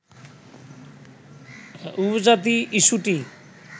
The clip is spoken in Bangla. উপজাতি ইস্যুটি